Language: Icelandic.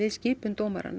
skipun dómara